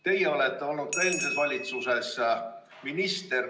Teie olete olnud ka eelmises valitsuses minister.